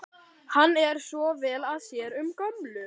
Hann er svo vel að sér um gömlu